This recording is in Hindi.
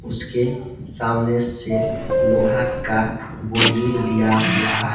उसके सामने से लोहा का बाउंड्री दिया हुआ है।